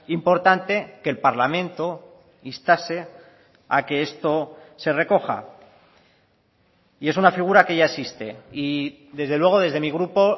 importante que el parlamento instase a que esto se recoja y es una figura que ya existe y desde luego desde mi grupo